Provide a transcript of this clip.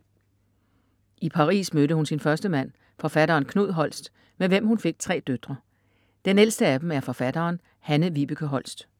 I Paris mødte hun sin første mand, forfatteren Knud Holst, med hvem hun fik 3 døtre. Den ældste af dem er forfatteren Hanne-Vibeke Holst.